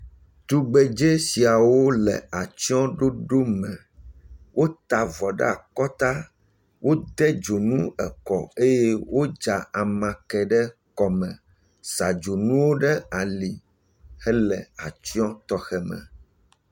Tugbedze siawo le atsyɔɖoɖo me, wota avɔ ɖe akɔta, wode dzonu ekɔ eye wodza amakɛ ɖe kɔme, sa dzonuwo ɖe ali hele atsyɔ tɔxɛ me.